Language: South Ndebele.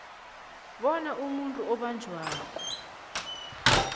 bona umuntu obotjhwako